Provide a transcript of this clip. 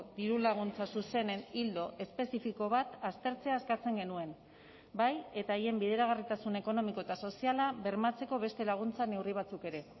diru laguntza zuzenen ildo espezifiko bat aztertzea eskatzen genuen bai eta haien bideragarritasun ekonomiko eta soziala bermatzeko beste laguntza neurri batzuk ere